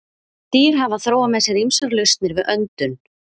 Dýr hafa þróað með sér ýmsar lausnir við öndun.